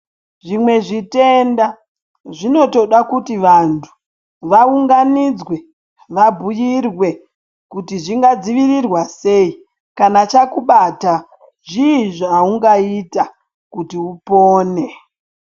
Zvimwe zvitenda zvinotoda kuti vantu vaunganidzwe vabhuirwe kuti zvingadzivirirwa sei, kana chakubatai zvii zvaungaita kuti upone.